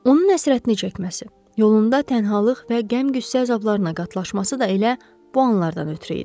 Onun həsrətini çəkməsi, yolunda tənhalıq və qəm-qüssə əzablarına qatlaşması da elə bu anlardan ötrü idi.